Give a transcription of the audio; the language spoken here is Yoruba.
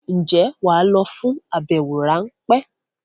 Ǹjẹ́ wà á lọ fún àbẹwò ráńpẹ́?